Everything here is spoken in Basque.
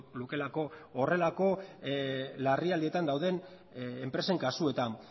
lukeelako horrelako larrialdietan dauden enpresen kasuetan